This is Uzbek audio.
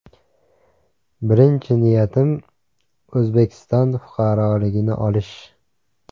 Birinchi niyatim O‘zbekiston fuqaroligini olish.